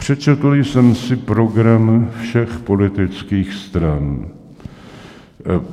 Přečetl jsem si program všech politických stran.